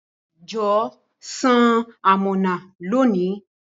Jọwọ san amọna loni.